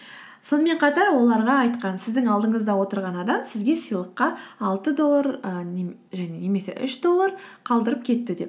сонымен қатар оларға айтқан сіздің алдынызда отырған адам сізге сыйлыққа алты доллар немесе үш доллар қалдырып кетті деп